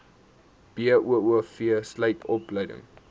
boov sluit opleiding